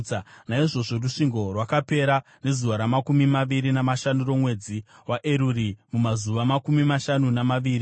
Naizvozvo rusvingo rwakapera nezuva ramakumi maviri namashanu romwedzi waEruri, mumazuva makumi mashanu namaviri.